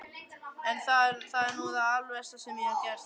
Það er nú það alversta sem ég hef gert.